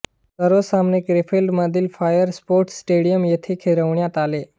सर्व सामने क्रेफेल्ड मधील बायर स्पोर्टस्टेडियन येथे खेळविण्यात आले